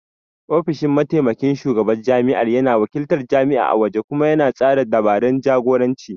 Ofishin Mataimakin Shugaban Jami'ar yana wakiltar jami'a a waje kuma yana tsara dabarun jagoranci